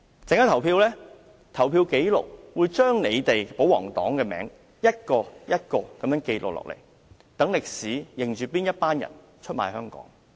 稍後的表決紀錄，會將保皇黨的名字逐一記錄，讓歷史記下哪些人出賣香港。